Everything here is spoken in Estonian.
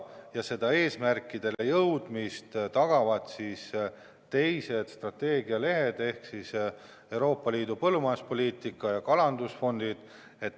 Ja selle eesmärkideni jõudmise tagavad teised strateegialehed ehk Euroopa Liidu põllumajanduspoliitika ja kalandusfondid.